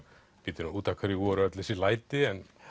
bíddu út af hverju voru öll þessi læti en